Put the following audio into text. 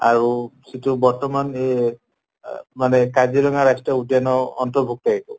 আৰু সিটো বৰ্তমান এহ আহ মানে কাজিৰঙ্গা ৰাষ্ট্ৰীয় উদ্য়ানৰ অন্তৰ্ভুক্ত এইটো